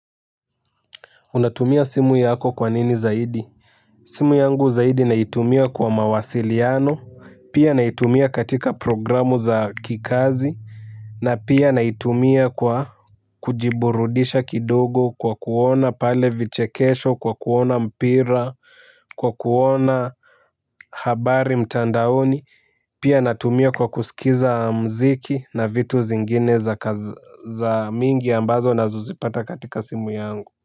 Unatumia simu yako kwa nini zaidi. Simu yangu zaidi naitumia kwa mawasiliano, pia naitumia katika programu za kikazi, na pia naitumia kwa kujiburudisha kidogo kwa kuona pale vichekesho, kwa kuona mpira, kwa kuona habari mtandaoni, pia natumia kwa kusikiza mziki na vitu zingine za mingi ambazo nazozipata katika simu yangu.